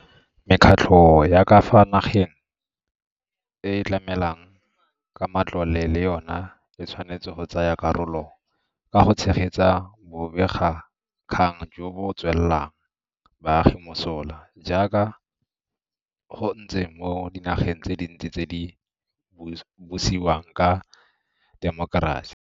Mekgatlho ya ka fa nageng e e tlamelang ka matlole le yona e tshwanetse go tsaya karolo ka go tshegetsa bobegakgang jo bo tswelang baagi mosola, jaaka go ntse mo dinageng tse dintsi tse di busiwang ka temokerasi.